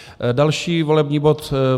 Další volební bod: